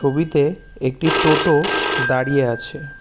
ছবিতে একটি টোটো দাঁড়িয়ে আছে।